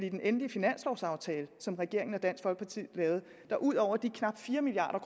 i den endelige finanslovaftale som regeringen og dansk folkeparti lavede ud over de knap fire milliard